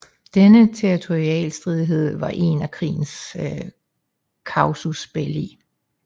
Denne territorialstridighed var en af krigens casus belli